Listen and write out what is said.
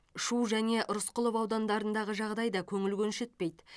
шу және рысқұлов аудандарындағы жағдай да көңіл көншітпейді